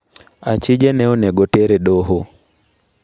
Achije ne onego oter e doho.